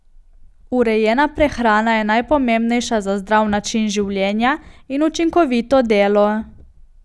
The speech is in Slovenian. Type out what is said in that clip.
Urejena prehrana je najpomembnejša za zdrav način življenja in učinkovito delo.